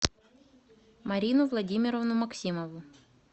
марину владимировну максимову